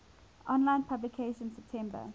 online publication september